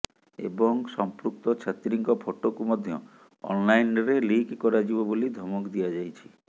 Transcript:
ଏବଂ ସମ୍ପୃକ୍ତ ଛାତ୍ରୀଙ୍କ ଫଟୋକୁ ମଧ୍ୟ ଅନ୍ଲାଇନ୍ରେ ଲିକ୍ କରାଯିବ ବୋଲି ଧମକ ଦିଆଯାଇଛି